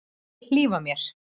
Vill hlífa mér.